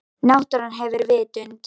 Náttúran hefur vitund.